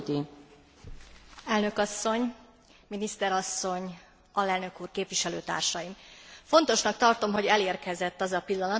Fontosnak tartom, hogy elérkezett az a pillanat, amikor a nyugat balkáni országok viszonylatában végre érdemben beszélhetünk a vízummentesség kérdéséről.